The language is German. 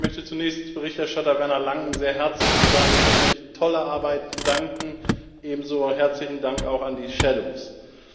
Ich möchte zunächst Berichterstatter Werner Langen sehr herzlich für seine wirklich tolle Arbeit danken, ebenso herzlichen Dank auch an die Schattenberichterstatter.